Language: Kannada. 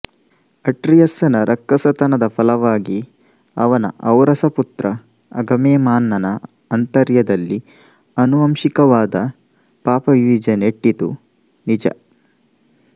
ಅಟ್ರಿಯಸ್ಸನ ರಕ್ಕಸತನದ ಫಲವಾಗಿ ಅವನ ಔರಸಪುತ್ರ ಅಗಮೆಮ್ನಾನನ ಆಂತರ್ಯದಲ್ಲಿ ಅನುವಂಶಿಕವಾದ ಪಾಪಬೀಜ ನೆಟ್ಟಿತು ನಿಜ